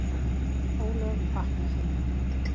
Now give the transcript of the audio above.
ólög vakna heima.